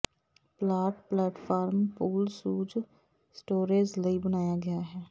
plot platform pool shoot storage ਲਈ ਬਣਾਇਆ ਗਿਆ ਹੈ